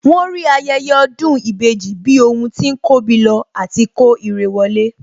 Wọ́n rí ayẹyẹ ọdún ìbejì bí ohun tí ń kóbi lọ àti kó irẹ wọlé